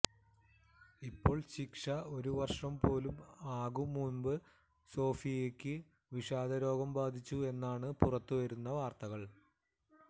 ഇപ്പോൾ ശിക്ഷ ഒരു വർഷം പോലും ആകും മുമ്പ് സോഫിയക്ക് വിഷാദ രോഗം ബാധിച്ചു എന്നാണ് പുറത്തുവരുന്ന വാർത്തകൾ